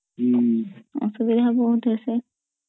ଅସୁବିଧା ବହୁତ୍ ହେ